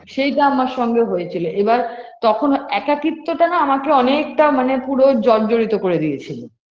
সেইটা আমার সঙ্গে হয়েছিল এবার তখন একাকিত্বটা না আমাকে অনেকটা মানে পুরো জর্জরিত করে দিয়েছিল